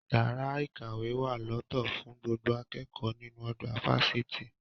Yàrá-ìkàwé wà lọ́tọ̀ fún gbogbo akẹ́kọ̀ọ́ nínú ọgbà fásitì